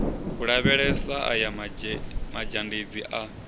u lavhelesa aya mazhendedzi a